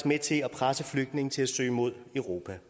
med til at presse flygtninge til at søge mod europa